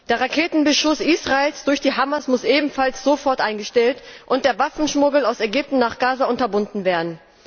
Der Raketenbeschuss Israels durch die Hamas muss ebenfalls sofort eingestellt und der Waffenschmuggel aus Ägypten nach Gaza unterbunden werden.